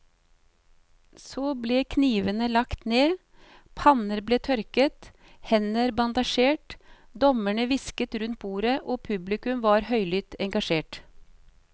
Så ble knivene lagt ned, panner ble tørket, hender bandasjert, dommerne hvisket rundt bordet og publikum var høylytt engasjert.